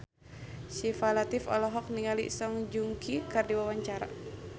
Syifa Latief olohok ningali Song Joong Ki keur diwawancara